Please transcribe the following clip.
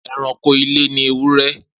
Eranko ile ni ewúrẹ́.